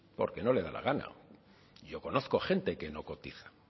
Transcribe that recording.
porque no le da la gana yo conozco a gente que no cotiza